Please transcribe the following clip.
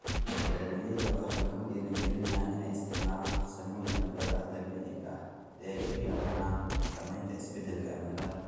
Beeraleyda waxaa lagu dhiirigelinayaa inay isticmaalaan farsamooyinka beeraha dabiiciga ah si ay u yareeyaan saamaynta isbeddelka cimilada.